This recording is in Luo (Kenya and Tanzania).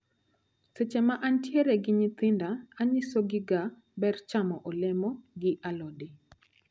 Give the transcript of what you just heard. Seche ma antiere gi nyithinda, anyisogiga ber chamo olemo gi alode.